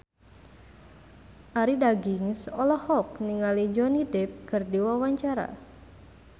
Arie Daginks olohok ningali Johnny Depp keur diwawancara